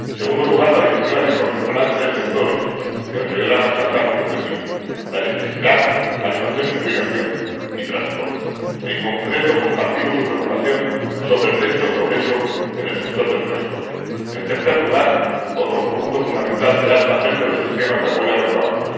En segundo lugar, la Directiva se concentrará en tres sectores que nos ayudarán a alcanzar nuestros objetivos electricidad, calefacción y refrigeración, y transporte. En concreto, compartimos su preocupación sobre el lento progreso en el sector del transporte. En tercer lugar, otro punto fundamental será el papel de los esquemas de apoyo a renovables.